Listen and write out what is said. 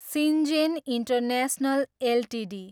Syngene international Ltd